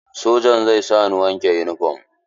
Sojan zai sa ni wanke yunifom.